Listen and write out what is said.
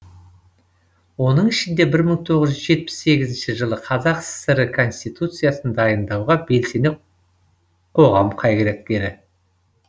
оның ішінде бір мың тоғыз жүз жетпіс сегізінші жылы қазақ кср і конституциясын дайындауға белсене қоғам қайраткері